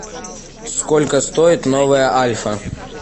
сколько стоит новая альфа